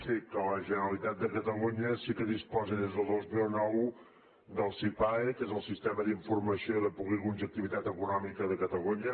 sí que la generalitat de catalunya sí que disposa des del dos mil nou del sipae que és el sistema d’informació de polígons d’activitat econòmica de catalunya